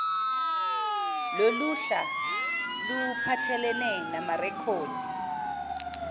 loluhla luphathelene namarekhodi